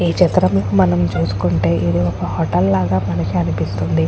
ఈ చిత్రం మనం చూస్కుంటే ఇది ఒక హోటల్ లాగ మనకి అనిపిస్తుంది.